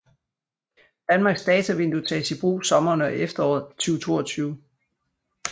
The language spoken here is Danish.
Danmarks Datavindue tages i brug sommeren og efteråret 2022